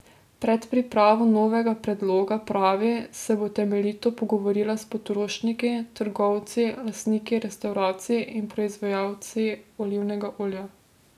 Pred pripravo novega predloga, pravi, se bo temeljito pogovorila s potrošniki, trgovci, lastniki restavracij in proizvajalci olivnega olja.